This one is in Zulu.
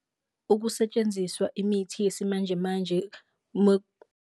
Ukusetshenziswa imithi yesimanjemanje .